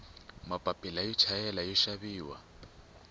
mapila yo chayela yoxaviwa